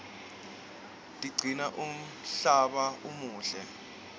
tigcina umhlaba umuhle